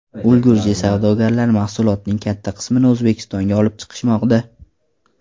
Ulgurji savdogarlar mahsulotning katta qismini O‘zbekistonga olib chiqishmoqda.